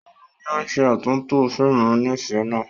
Òun ni ó ṣe àtúntò fíìmù onífẹ̀ẹ́ náà.